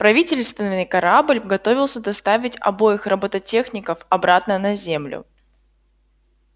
правительственный корабль готовился доставить обоих роботехников обратно на землю